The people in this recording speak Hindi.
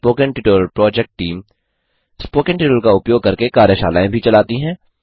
spoken tutorial project team spoken tutorial का उपयोग करके कार्यशालाएँ भी चलाती है